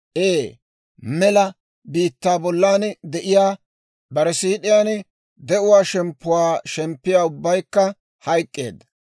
Ee, mela biittaa bollan de'iyaa, bare siid'iyaan de'uwaa shemppuwaa shemppiyaa ubbaykka hayk'k'eedda.